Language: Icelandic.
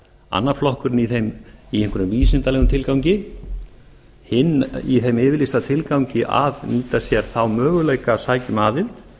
annar flokkurinn í einhverjum vísindalegum tilgangi hinn í þeim yfirlýsta tilgangi að mynda sér þá möguleika að sækja um aðild